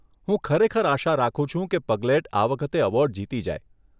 હું ખરેખર આશા રાખું છું કે પગલેટ આ વખતે એવોર્ડ જીતી જાય.